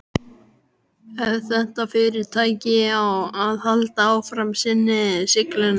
Ef þetta fyrirtæki á að halda áfram sinni siglingu.